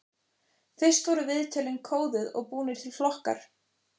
Fyrst voru viðtölin kóðuð og búnir til flokkar.